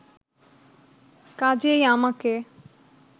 কাজেই আমাকে